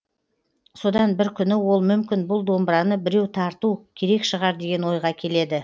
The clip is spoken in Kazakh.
содан бір күні ол мүмкін бұл домбыраны біреу тарту керек шығар деген ойға келеді